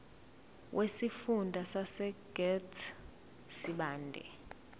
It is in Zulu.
wesifunda sasegert sibande